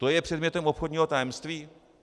To je předmětem obchodního tajemství?